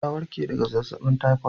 Ta warke daga zazzabin typhoid